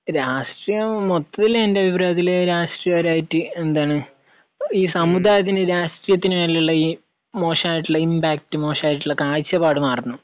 രാഷ്ട്രീയം, മൊത്തത്തിൽ എൻറെ അഭിപ്രായത്തിൽ രാഷ്ട്രീയപരമായിട്ട് എന്താണ്, ഈ സമുദായത്തിന് രാഷ്ട്രീയത്തിനു മേലുള്ള ഈ മോശം ആയിട്ടുള്ള ഇമ്പാക്ട്, മോശം ആയിട്ടുള്ള കാഴ്ചപ്പാട് മാറണം.